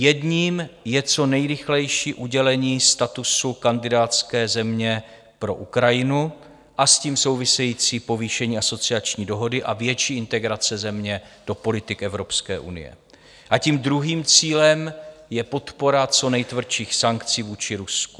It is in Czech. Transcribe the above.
Jedním je co nejrychlejší udělení statusu kandidátské země pro Ukrajinu a s tím související povýšení asociační dohody a větší integrace země do politik Evropské unie a tím druhým cílem je podpora co nejtvrdších sankcí vůči Rusku.